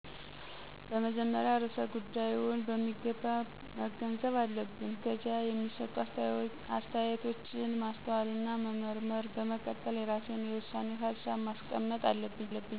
በመጀመሪያ ርዕሰ ጉዳይውን በሚገባ መገንዘብ አለብን። ከዚያ የሚሰጡ አስተያየቶችን ማስተዋልና መመርመር፣ በመቀጠል የራሴን የውሳኔ ሀሳብ ማስቀመጥ አለብኝ።